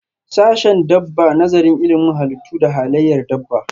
Sashen dabba Nazarin ilimin halittu da halayyar dabba.